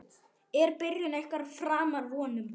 Er byrjun ykkar framar vonum?